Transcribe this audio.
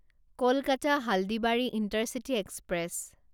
Kolkata Haldibari intercity express